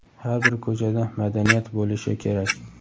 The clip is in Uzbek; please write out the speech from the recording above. har bir ko‘chada madaniyat bo‘lishi kerak.